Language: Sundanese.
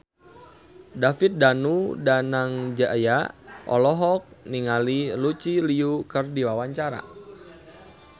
David Danu Danangjaya olohok ningali Lucy Liu keur diwawancara